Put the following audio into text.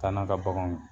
Taa n'a ka baganw ye